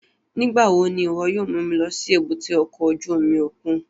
Nigbawo ni iwọ yóò mu mi lọ si èbúté ọkọ ojú omi okun?